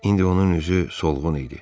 İndi onun üzü solğun idi.